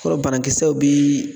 Kɔrɔ banakisɛw bi